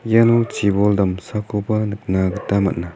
iano chibol damsakoba nikna gita man·a.